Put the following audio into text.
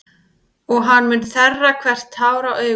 Og hann mun þerra hvert tár af augum þeirra.